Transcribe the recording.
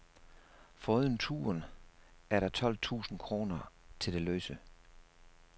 Foruden turen er der tolv tusind kroner til det løse.